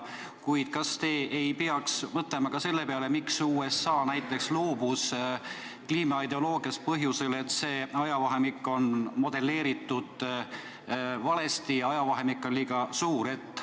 Kuid kas te ei peaks mõtlema ka selle peale, miks USA näiteks loobus kliimamuutuse ideoloogiast põhjusel, et see ajavahemik on modelleeritud valesti, ajavahemik on liiga pikk?